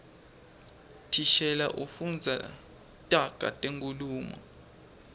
thishela ufundza taga tenkhulumo